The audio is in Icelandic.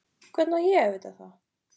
Hvernig á ég að vita það?